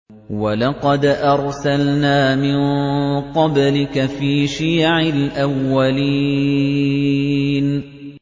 وَلَقَدْ أَرْسَلْنَا مِن قَبْلِكَ فِي شِيَعِ الْأَوَّلِينَ